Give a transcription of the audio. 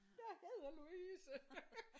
Jeg hedder Louise